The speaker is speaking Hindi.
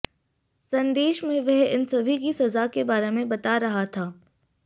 संदेश में वह इन सभी की सजा के बारे में बता रहा था